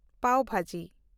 ᱯᱟᱣ ᱵᱷᱟᱡᱤ